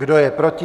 Kdo je proti?